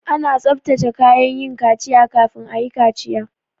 Ana tsabtace kayan yin kaciya kafin ayi kaciya